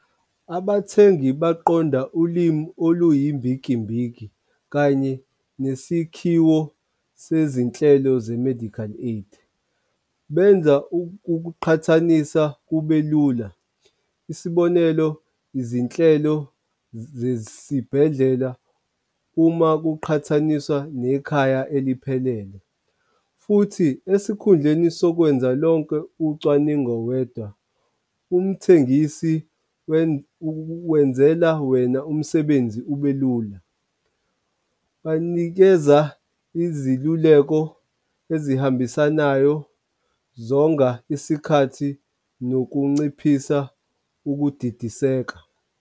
Abathengi baqonda ulimi oluyimbikimbiki kanye nesikhiwo sezinhlelo ze-medical aid. Benza ukuqhathanisa kube lula. Isibonelo, izinhlelo zesibhedlela uma kuqhathaniswa nekhaya eliphelele. Futhi esikhundleni sokwenza lonke ucwaningo wedwa, umthengisi wenzela wena umsebenzi ube lula. Banikeza iziluleko ezihambisanayo, zonga isikhathi nokunciphisa ukudidiseka.